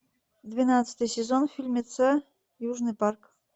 двенадцатый сезон фильмеца южный парк